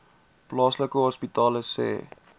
plaaslike hospitale sê